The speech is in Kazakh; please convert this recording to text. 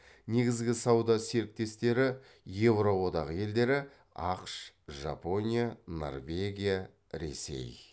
негізгі сауда серіктестері еуро одағы елдері ақш жапония норвегия ресей